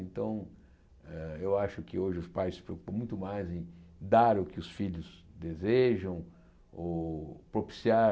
Então, eh eu acho que hoje os pais se preocupam muito mais em dar o que os filhos desejam ou propiciar...